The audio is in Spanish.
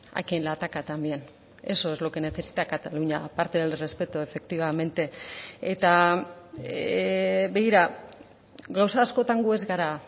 a quien le ataca también eso es lo que necesita cataluña a parte del respeto efectivamente eta begira gauza askotan gu ez gara